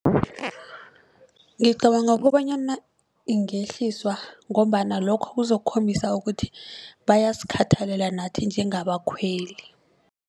Ngicabanga kobanyana ingehliswa ngombana lokho kuzokhombisa ukuthi bayasikhathalela nathi njengabakhweli.